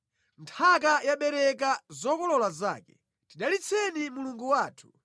Nthaka yabereka zokolola zake; tidalitseni Mulungu wathu.